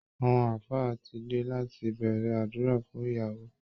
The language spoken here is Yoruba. Àwọn ààfáà ti dé láti bẹ̀rẹ̀ àdúrà fún ìyàwó